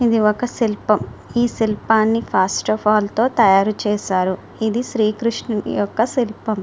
ఇది ఒక సిల్పం. ఈ సిల్పాన్ని తో తాయారు చేసారు. ఇది శ్రీ కృష్ణుడి ఒక సిల్పం.